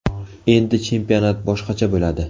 Endi chempionat boshqacha bo‘ladi.